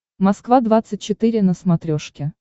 москва двадцать четыре на смотрешке